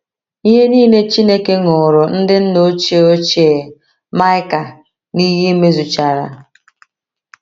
Ihe nile Chineke ṅụụrụ ndị nna ochie ochie Maịka n’iyi mezuchara.